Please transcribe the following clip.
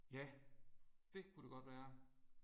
Ja det kunne det godt være